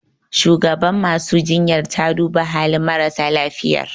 Shugabar masu jinyar ta duba halin marasa lafiyar